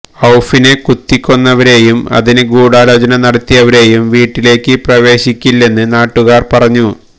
ഔഫിനെ കുത്തിക്കൊന്നവരേയും ഇതിന് ഗൂഢാലോചന നടത്തിയവരേയും വീട്ടിലേക്ക് പ്രവേശിപ്പിക്കില്ലെന്ന് നാട്ടുകാര് പറഞ്ഞു